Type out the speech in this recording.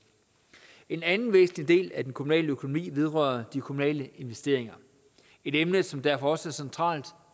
en anden væsentlig del af den kommunale økonomi vedrører de kommunale investeringer et emne som derfor også er centralt